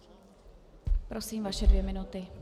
Prosím, vaše dvě minuty.